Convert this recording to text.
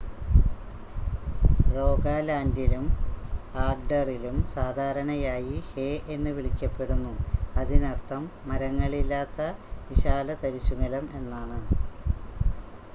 "റോഗാലാൻഡിലും ആഗ്‌ഡറിലും സാധാരണയായി "ഹേ" എന്ന് വിളിക്കപ്പെടുന്നു അതിനർത്ഥം മരങ്ങളില്ലാത്ത വിശാലതരിശുനിലം എന്നാണ്.